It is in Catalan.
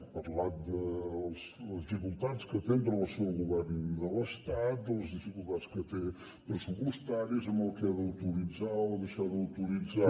ha parlat de les dificultats que té amb relació al govern de l’estat de les dificultats que té pressupostàries amb el que ha d’autoritzar o deixar d’autoritzar